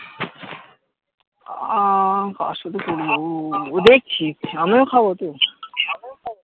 আহ কার সাথে করবো দেখছি আমিও খাবো তো